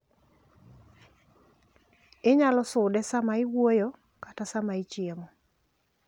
Inyalo sude saa ma iwuoyo kata saa ma ichiemo.